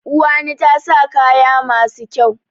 Uwani ta sa kaya masu kyau.